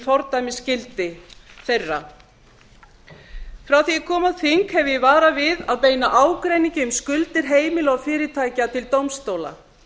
fordæmisgildi þeirra frá því að ég kom á þing hef ég varað við að beina ágreiningi um skuldir heimila og fyrirtækja til dómstóla